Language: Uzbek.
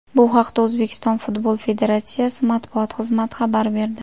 Bu haqda O‘zbekiston Futbol federatsiyasi matbuot xizmati xabar berdi .